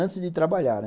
Antes de trabalhar, né?